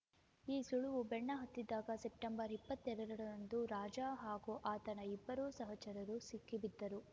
ಈ ಸುಳಿವು ಬೆನ್ನಹತ್ತಿದ್ದಾಗ ಸೆಪ್ಟೆಂಬರ್ ಇಪ್ಪತ್ತೆರಡ ರಂದು ರಾಜ ಹಾಗೂ ಆತನ ಇಬ್ಬರು ಸಹಚರರು ಸಿಕ್ಕಿಬಿದ್ದರು